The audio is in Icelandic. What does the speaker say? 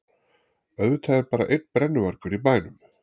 Auðvitað er bara einn brennuvargur í bænum!